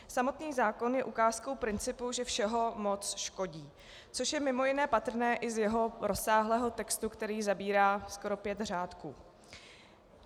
Samotný zákon je ukázkou principu, že všeho moc škodí, což je mimo jiné patrné i z jeho rozsáhlého textu, který zabírá skoro pět řádků.